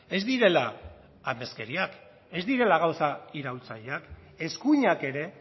ez direla amezkeriak ez direla gauza iraultzaileak eskuinak ere